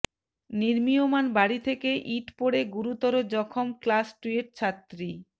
নির্মীয়মাণ বাড়ি থেকে ইট পড়ে গুরুতর জখম ক্লাস টুয়ের ছাত্রী